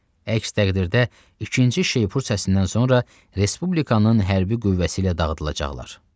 Əks təqdirdə, ikinci şeypur səsindən sonra respublikanın hərbi qüvvəsi ilə dağıdılacaqlar.